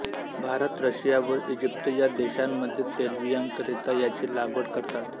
Bharat Russia व Egypt या देशांमध्ये तेलबियांकरिता याची लागवड करतात